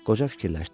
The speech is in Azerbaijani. Qoca fikirləşdi.